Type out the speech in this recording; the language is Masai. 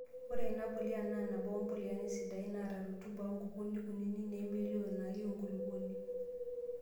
Ore ena pulia naa nabo ompiliani sidan neeta rutuba onkukuni kunini nemelio nayieu enkulupuoni.